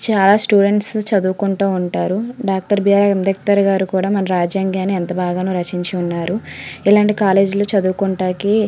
చాల స్టూడెంట్స్ చదువుకుంటు ఉంటారు doctor B R Ambedkar garu కూడా మన రాజయంగాని ఎంతో బాగా రచించి ఉన్నారు ఇలాంటి కాలేజీలో చదువుకుంటానికి--